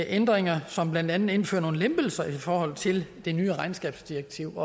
ændringer som blandt andet indfører nogle lempelser i forhold til det nye regnskabsdirektiv